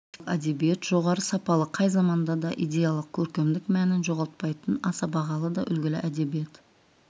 классикалық әдебиет жоғары сапалы қай заманда да идеялық көркемдік мәнін жоғалтпайтын аса бағалы да үлгілі әдебиет